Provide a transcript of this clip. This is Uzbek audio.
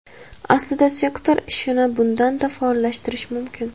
Aslida sektor ishini bundan-da faollashtirish mumkin.